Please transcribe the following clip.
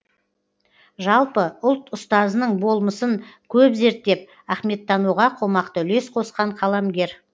жалпы ұлт ұстазының болмысын көп зерттеп ахметтануға қомақты үлес қосқан қаламгер